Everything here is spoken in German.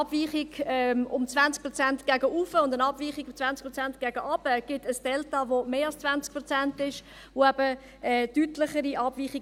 Eine Abweichung von 20 Prozent nach oben und eine Abweichung von 20 Prozent nach unten ergibt ein «Delta» von mehr als 20 Prozent und damit eine deutlichere Abweichung.